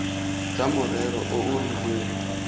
tsa morero o o rileng